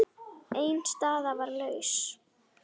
Ein staða var laus.